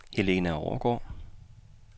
Helena Overgaard